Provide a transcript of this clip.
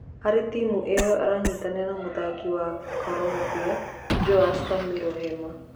Harĩ timu ĩyo aranyitanĩra na mũthaki wa Korombia Joash Kamiro Hema.